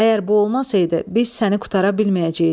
Əgər bu olmasaydı, biz səni qurtara bilməyəcəkdik.